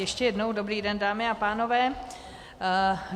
Ještě jednou dobrý den, dámy a pánové.